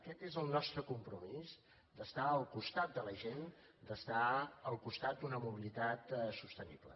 aquest és el nostre compromís d’estar al costat de la gent d’estar al costat d’una mobilitat sostenible